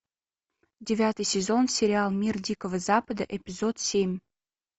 девятый сезон сериал мир дикого запада эпизод семь